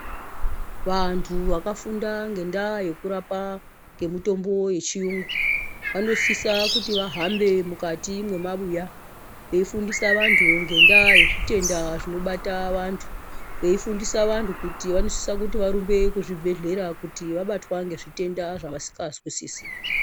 Vantu vakafunda ngendaa yekurapa ngemutombo yechiyungu, vanosisa kuti vahambe mukati mwemabuya, veifundisa vanthu ngendaa yezvitenda zvinobata vantu. Veifundisa vantu kuti vanosisa kuti varumbe kuzvibhedhlera kuti vabatwa ngezvitenda zvavasikazwisisi.